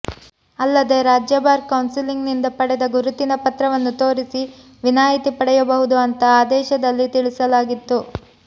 ಅಲ್ಲದೇ ರಾಜ್ಯ bar council ನಿಂದ ಪಡೆದ ಗುರುತಿನ ಪತ್ರವನ್ನು ತೋರಿಸಿ ವಿನಾಯಿತಿ ಪಡೆಯಬಹುದು ಅಂತಾ ಆದೇಶದಲ್ಲಿ ತಿಳಿಸಲಾಗಿತ್ತು